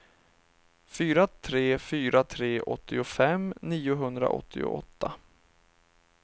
fyra tre fyra tre åttiofem niohundraåttioåtta